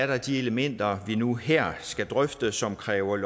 der de elementer vi nu her skal drøfte som kræver